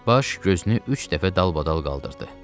Baş gözünü üç dəfə dalbadal qaldırdı.